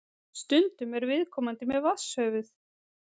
Stundum er viðkomandi með vatnshöfuð.